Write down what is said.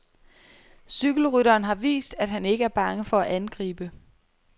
Cykelrytteren har vist, at han ikke er bange for at angribe.